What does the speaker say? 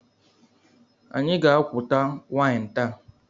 Anyị ga-aquta waịn taa.